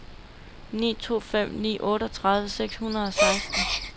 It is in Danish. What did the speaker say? ni to fem ni otteogtredive seks hundrede og seksten